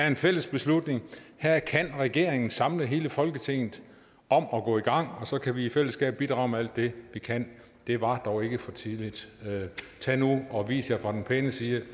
en fælles beslutning her kan regeringen samle hele folketinget om at gå i gang og så kan vi i fællesskab bidrage med alt det vi kan det var dog ikke for tidligt tag nu og vis jer fra den pæne side